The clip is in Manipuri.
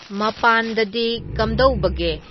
ꯃꯄꯥꯟꯗꯗꯤ ꯀꯝꯗꯧꯕꯒꯦ